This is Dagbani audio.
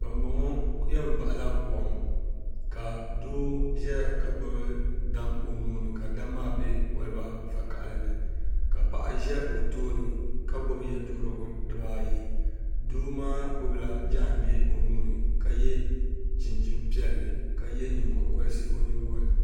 bɛmbɔŋɔ yɛn bahila kom ka doo ʒɛya ka gbubi daam o nuu ni ka daam maa be kɔliba vakahili ni ka paɣa za o tooni ka gbubi ye' duhirigu diba ayi doo maa gbubila jaangbee o nuu ni ka ye chinchin' piɛlli ka ye nyingokɔlisi o nyingoli ni